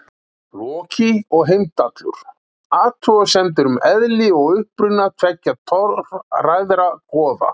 Loki og Heimdallur: Athugasemdir um eðli og uppruna tveggja torræðra goða.